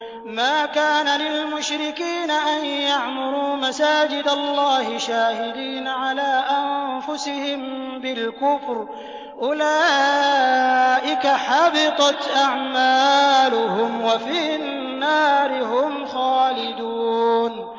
مَا كَانَ لِلْمُشْرِكِينَ أَن يَعْمُرُوا مَسَاجِدَ اللَّهِ شَاهِدِينَ عَلَىٰ أَنفُسِهِم بِالْكُفْرِ ۚ أُولَٰئِكَ حَبِطَتْ أَعْمَالُهُمْ وَفِي النَّارِ هُمْ خَالِدُونَ